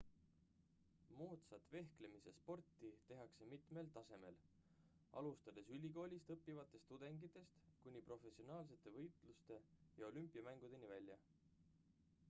moodsat vehklemise sporti tehakse mitmel tasemel alustades ülikoolis õppivatest tudengitest kuni professionaalsete võistluste ja olümpiamängudeni välja